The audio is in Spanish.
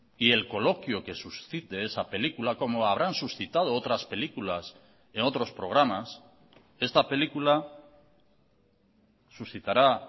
y el coloquio que suscite esa película como habrán suscitado otras películas en otros programas esta película suscitará